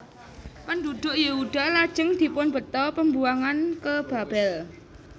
Penduduk Yehuda lajeng dipunbheta Pembuangan ke Babel